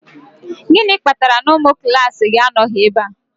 Gịnị kpatara na ụmụ klaasị gị anọghị ebe a?